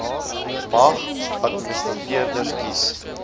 mag administrateurders kies